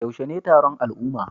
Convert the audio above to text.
Yaushe ne taron al'umma?